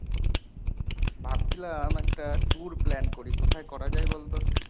ভাবছিলাম একটা tour plan করি, কোথায় করা যায় বলতো?